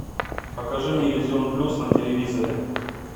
покажи мне иллюзион плюс на телевизоре